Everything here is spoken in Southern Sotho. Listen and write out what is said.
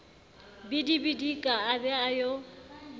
bidibidika a be a yo